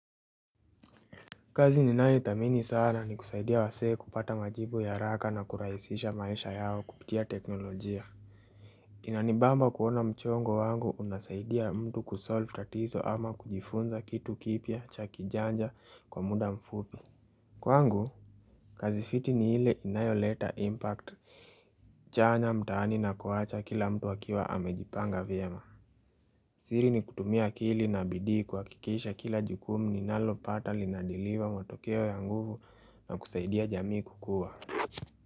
Kazi ninayithamini sana ni kusaidia wasee kupata majibu ya haraka na kurahisisha maisha yao kupitia teknolojia. Inanibamba kuona mchongo wangu unasaidia mtu kusolve tatizo ama kujifunza kitu kipya cha kijanja kwa muda mfupi. Kwa ngu, kazi fiti ni ile inayo leta impact. Chanya mtaani na kuacha kila mtu akiwa amejipanga vyema. Siri ni kutumia akili na bidii kuhakikisha kila jukumu ninalo pata linadiliwa matokeo ya nguvu na kusaidia jamii kukua.